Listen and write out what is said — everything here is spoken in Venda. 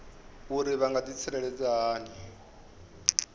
uri vha nga ḓitsireledza hani